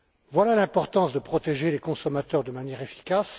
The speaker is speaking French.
Voilà l'importance de protéger les consommateurs de manière efficace.